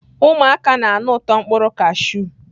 Ụmụaka na-anụ ụtọ mkpụrụ kashụ.